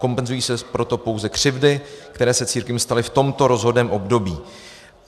Kompenzují se proto pouze křivdy, které se církvím staly v tomto rozhodném období.